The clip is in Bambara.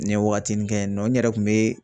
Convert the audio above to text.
N ye waagatinin kɛ yen nɔ, n yɛrɛ kun bɛ